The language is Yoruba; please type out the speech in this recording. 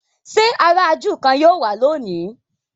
ṣe àrà júù kán yíò wá lóni?